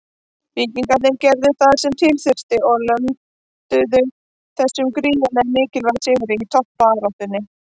Víkingarnir gerðu það sem til þurfti og lönduðu þessum gríðarlega mikilvæga sigri í toppbaráttunni.